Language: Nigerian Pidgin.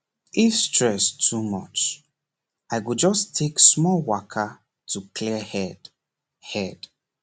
if stress too much i go just take small waka to clear head head